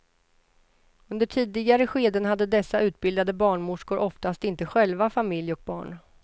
Under tidigare skeden hade dessa utbildade barnmorskor oftast inte själva familj och barn.